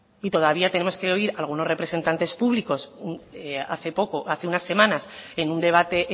y todavía tenemos que oír a algunos representantes públicos hace poco hace unas semanas en un debate